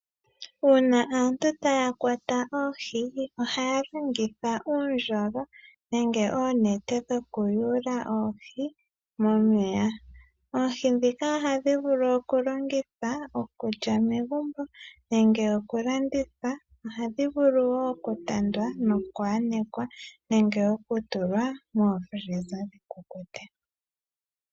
Uuna aantu taya kwata oohi, ohaya longitha uundjolo nenge oonete dhokuyuula oohi momeya. Oohi dhika ohadhi vulu okulongitha okulya megumbo, nenge okulanditha, ohadhi vulu wo okutandwa nokuhanekwa nenge okutulwa momashina gokutalalekitha dhikukute.